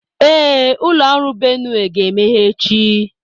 Ee, ụlọ ọrụ Benue ga-emeghe echi.